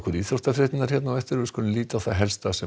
íþróttafréttirnar hér á eftir við skulum líta á það helsta sem